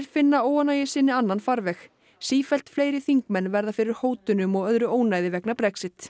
finna óánægju sinni annan farveg sífellt fleiri þingmenn verða fyrir hótunum og öðru ónæði vegna Brexit